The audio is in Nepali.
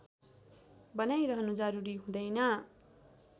बनाइरहनु जरुरी हुँदैन